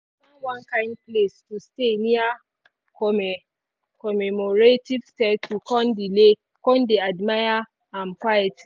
find one kind place to stay near commemorative statue con delay dey admire am quietly.